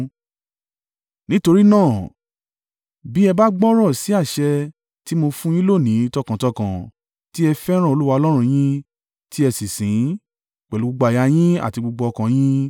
Nítorí náà, bí ẹ bá gbọ́rọ̀ sí àṣẹ tí mo fún un yín lónìí tọkàntọkàn: tí ẹ fẹ́ràn Olúwa Ọlọ́run yín, tí ẹ sì sìn ín, pẹ̀lú gbogbo àyà yín àti gbogbo ọkàn yín: